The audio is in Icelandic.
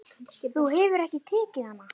Þú hefur ekki tekið hana?